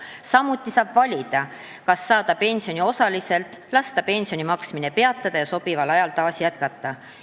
Samuti saab valida, kas saada pensioni osaliselt või lasta pensioni maksmine peatada ja sobival ajal seda taas jätkata.